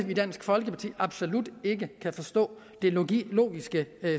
vi i dansk folkeparti absolut ikke kan forstå det logiske logiske